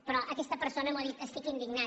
però aquesta persona m’ho ha dit estic indignat